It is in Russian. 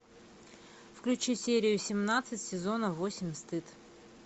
включи серию семнадцать сезона восемь стыд